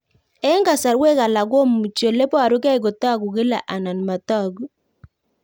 Eng'kasarwek alak komuchi ole parukei kotag'u kila anan matag'u